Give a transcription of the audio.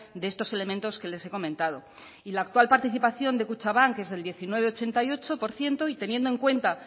de estos elementos que les he comentado y la actual participación de kutxabank es del diecinueveochenta y ocho por ciento y teniendo en cuenta